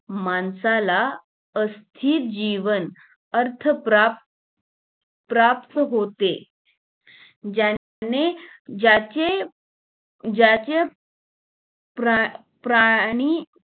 माणसाला अस्थी जीवन अर्थ प्राप्त प्राप्त होते ज्याने ज्यांचे ज्याच्या प्राणी